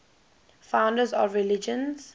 founders of religions